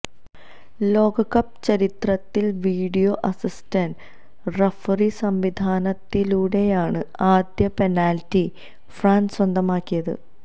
ലോകകപ്പ് ചരിത്രത്തില് video assistant referee സംവിധാനത്തിലൂടെയാണ് ആദ്യ പെനാല്റ്റി ഫ്രാന്സ് സ്വന്തമാക്കിയത്